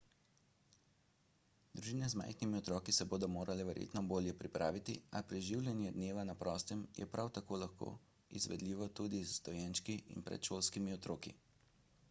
družine z majhnimi otroki se bodo morale verjetno bolje pripraviti a preživljanje dneva na prostem je prav tako lahko izvedljivo tudi z dojenčki in predšolskimi otroki